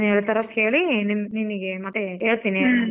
ಏನ್ ಹೇಳ್ತರೋ ಕೇಳಿ ನಿ~ ನಿನ್ಗೆ ಮತ್ತೆ ಹೇಳ್ತೀನಿ .